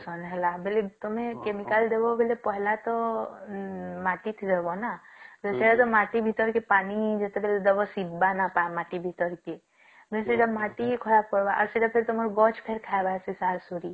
ସନ ହେଲା ବେଲି ତଆମେ chemical ଦେବ ବୋଲି ପହିଲା ତ ମାଟିରେ ଦବ ନାଁ ତ ସେଇଟା କି ମାଟି ଭୀତ ରେ ପାନି ଜେଟବେଳେ ଦବ ସିଦ ନବ କି ମାଟି ଭିତରକେ ସେଟା ମାଟି ଖରାପ କରିବ ଆଉ ସେଟା ଫେର ତମର ଗଛ